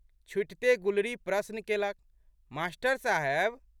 छुटिते गुलरी प्रश्न केलक, मास्टर साहेब!